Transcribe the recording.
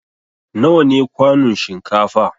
Nawa ne kwanun shinkafa?